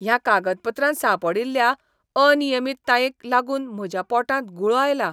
ह्या कागदपत्रांत सांपडिल्ल्या अनियमीततायेंक लागून म्हज्या पोटांत गुळो आयला.